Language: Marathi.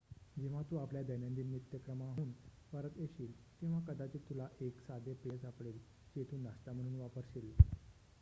जेव्हा तू आपल्या दैनंदिन नित्यक्रमाहून परत येशील तेव्हा कदाचित तुला एक साधे पेय सापडेल जे तू नाश्ता म्हणून वापर्शील